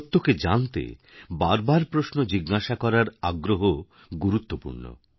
সত্যকে জানতে বার বারপ্রশ্ন জিজ্ঞাসা করার আগ্রহ গুরুত্বপূর্ণ